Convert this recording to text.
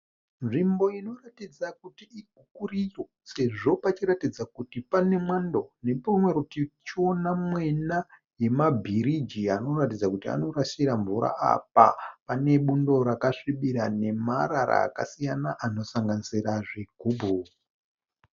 Nzvimbo inoratidza kuti ikuriro sezvo pachiratidza kuti pane mwando. Neparutivi tichiona mwena nemabhiriji anoratidza kuti anorasira mvura apa, panebundo rakasvibira nemarara akasiyana anosanganisira zvigubhu.